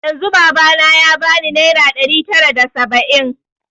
Yanzun baba na ya bani naira ɗari tara da saba'in